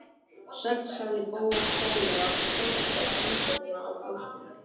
Sæll sagði Bóas fálega og krosslagði handleggina á brjóstinu.